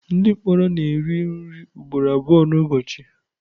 Ndị mkpọrọ na-eri nri ugboro abụọ n'ụbọchị.